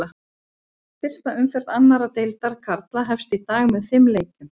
Fyrsta umferð annar deildar karla hefst í dag með fimm leikjum.